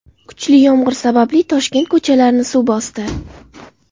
Kuchli yomg‘ir sababli Toshkent ko‘chalarini suv bosdi .